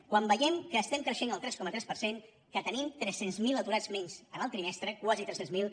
quan veiem que estem creixent el tres coma tres per cent que tenim tres cents miler aturats menys en el trimestre quasi tres cents miler